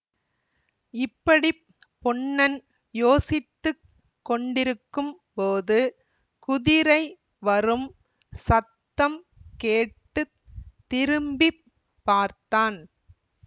இப்படி பொன்னன் யோசித்து கொண்டிருக்கும் போது குதிரை வரும் சத்தம் கேட்டு திரும்பி பார்த்தான்